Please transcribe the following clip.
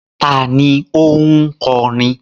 Ta ni ó ń kọrin?